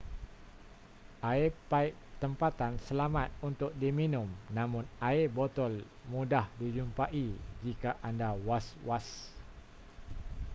air paip tempatan selamat untuk diminum namun air botol mudah dijumpai jika anda was-was